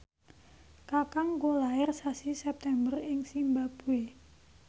kakangku lair sasi September ing zimbabwe